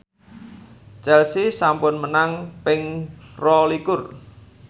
Chelsea sampun menang ping rolikur